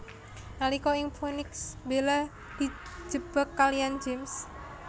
Nalika ing Phoenix Bella dijebak kaliyan James